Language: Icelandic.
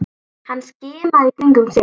Hann skimaði í kringum sig.